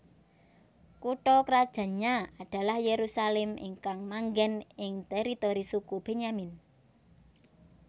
Kutha krajannya adalah Yerusalem ingkang manggen ing teritori suku Benyamin